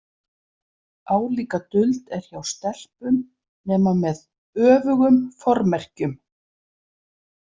Álíka duld er hjá stelpum, nema með öfugum formerkjum.